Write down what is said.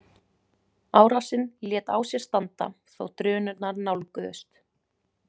Árásin lét á sér standa þó drunurnar nálguðust.